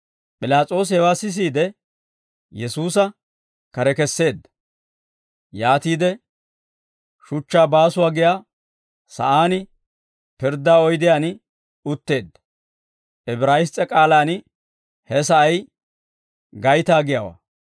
P'ilaas'oosi hewaa sisiide, Yesuusa kare kesseedda. Yaatiide shuchchaa baasuwaa giyaa sa'aan pirddaa oydiyaan utteedda; Ibraayiss's'e k'aalaan he sa'ay gaytaa giyaawaa.